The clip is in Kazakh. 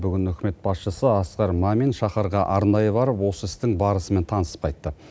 бүгін үкімет басшысы асқар мамин шаһарға арнайы барып осы істің барысымен танысып қайтты